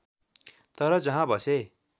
तर जहाँ बसे